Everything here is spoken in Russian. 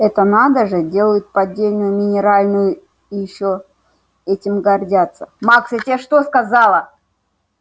это надо же делает поддельную минеральную и ещё этим гордятся макс я тебе что сказала